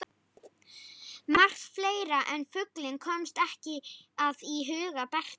Margt fleira en fuglinn komst ekki að í huga Bertu.